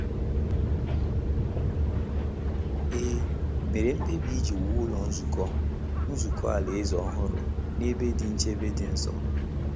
E mere mkpebi iji wuo Ụlọ Nzukọ Nzukọ Alaeze ọhụrụ n’ebe dị nchebe dị nso.